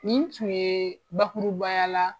Nin tun ye bakurubaya la